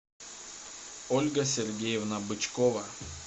ольга сергеевна бычкова